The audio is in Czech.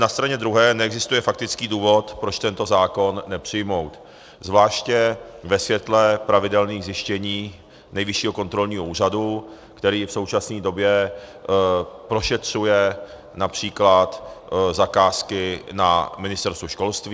Na straně druhé neexistuje faktický důvod, proč tento zákon nepřijmout, zvláště ve světle pravidelných zjištění Nejvyššího kontrolního úřadu, který v současné době prošetřuje například zakázky na Ministerstvu školství.